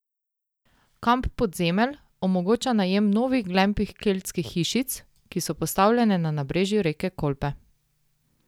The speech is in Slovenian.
Kamp Podzemelj omogoča najem novih glamping keltskih hišic, ki so postavljene na nabrežju reke Kolpe.